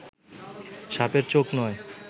সাপের চোখ নয়